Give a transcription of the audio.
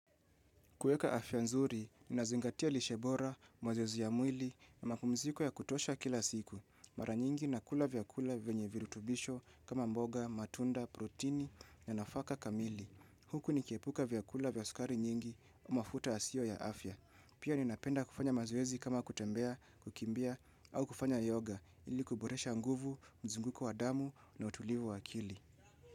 Kuweka afya nzuri, ninazingatia lishe bora, mazoezi ya mwili, na mapumziko ya kutosha kila siku. Mara nyingi nakula vyakula vyenye virutubisho kama mboga, matunda, protini, na nafaka kamili. Huku nikiepuka vyakula vya sukari nyingi, mafuta yasiyo ya afya. Pia ninapenda kufanya mazoezi kama kutembea, kukimbia, au kufanya yoga, ili kuboresha nguvu, mzunguko wa damu, na utulivu wa akili.